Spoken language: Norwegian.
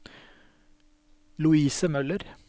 Louise Møller